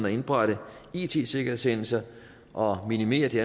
at indberette it sikkerhedshændelser og minimere de